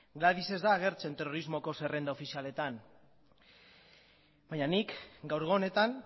gladys ez da agertzen terrorismoko zerrenda ofizialetan baina nik gaurko honetan